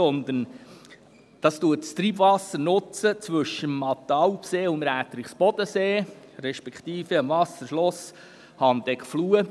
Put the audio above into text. Dieses nutzt das Treibwasser zwischen dem Mattenalp- und dem Räterichsbodensee respektive dem Wasserschloss Handeckfluh.